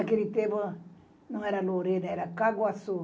Naquele tempo não era Lorena, era Caguassu.